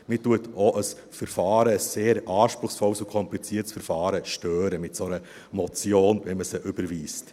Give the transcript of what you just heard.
Man stört auch ein Verfahren, ein sehr anspruchsvolles und kompliziertes Verfahren, mit einer solchen Motion, wenn man sie überweist.